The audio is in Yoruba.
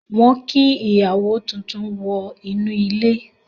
Wọ́n kí ìyàwó tuntun wọ inú ilé.